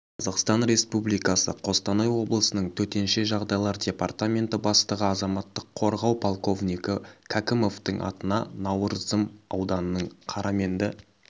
қазақстан республикасы қостанай облысының төтенше жағдайлар департаменті бастығы азаматтық қорғау полковнигі кәкімовтің атына науырзым ауданының қараменді